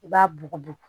I b'a bugubugu